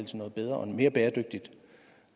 til noget bedre og mere bæredygtigt